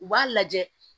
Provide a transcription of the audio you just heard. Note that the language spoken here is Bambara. U b'a lajɛ